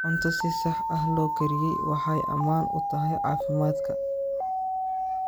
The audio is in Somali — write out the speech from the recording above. Cunto si sax ah loo kariyey waxay ammaan u tahay caafimaadka.